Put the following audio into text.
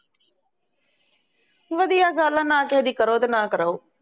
ਵਧੀਆ ਗੱਲ ਆ ਨਾ ਕਿਸੇ ਦੀ ਕਰੋ ਅਤੇ ਨਾ ਕਰਾਉ